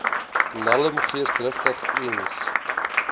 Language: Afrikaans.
nelm geesdrigtig eens